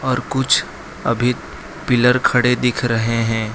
और कुछ अभी पिलर खड़े दिख रहे हैं।